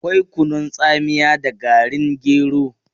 Akwai kunun tsamiya da garin gero.